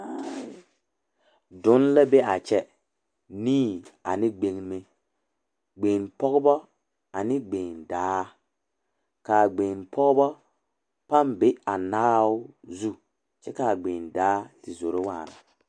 Dɔnne la be a kyɛ nii ane gbeŋme gbeŋpɔgeba ane gbeŋdaa ka a gbeŋpɔgeba pãã be a naao zu kyɛ ka a gbeŋdaa te zoro waana.